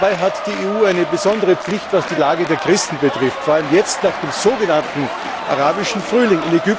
Dabei hat die EU eine besondere Pflicht, was die Lage der Christen betrifft, vor allem jetzt, nach dem sogenannten Arabischen Frühling.